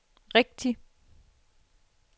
rigtigt